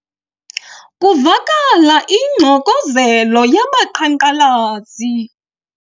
Kuvakala ingxokozelo yabaqhankqalazi.